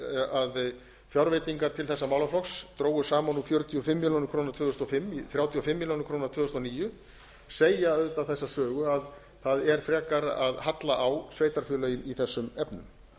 að fjárveitingar til þessa málaflokks drógust saman úr fjörutíu og fimm milljónir króna tvö þúsund og fimm í þrjátíu og fimm milljónir króna tvö þúsund og níu segja auðvitað þessa sögu að það er frekar að halla á sveitarfélögin í þessum efnum